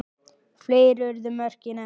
Fleiri urðu mörkin ekki.